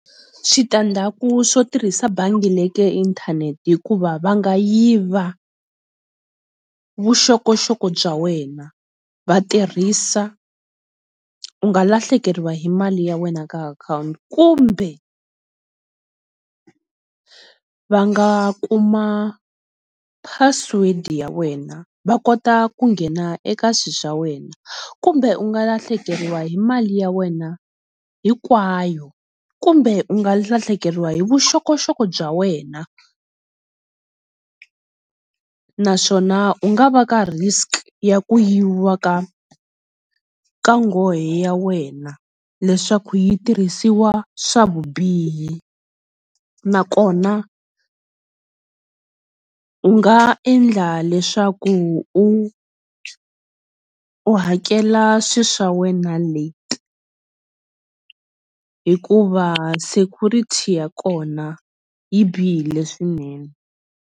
Switandzhaku swo tirhisa bangi inthanethe hikuva va nga yiva vuxokoxoko bya wena, va tirhisa u nga lahlekeriwa hi hi mali ya wena eka akhawunti kumbe va nga kuma password ya wena va kota ku nghena eka swilo swa wena kumbe u nga lahlekeriwa hi mali ya wena hinkwayo kumbe u nga lahlekeriwa hi vuxokoxoko bya wena naswona u nga va ka risk ya ku yiviwa ka ka nghohe ya wena leswaku yi tirhisiwa swa vubihi nakona u nga endla leswaku u u hakela swilo swa wena late hikuva security ya kona yi bihile swinene.